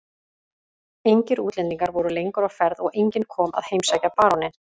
Engir útlendingar voru lengur á ferð og enginn kom að heimsækja baróninn.